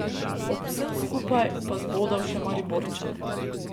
Ob vsem skupaj pa zbodel še Mariborčane.